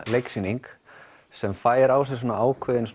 leiksýning sem fær á sig ákveðinn